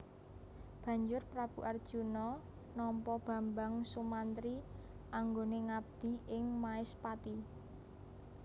Banjur Prabu Arjuna nampa Bambang Sumantri anggone ngabdi ing Maespati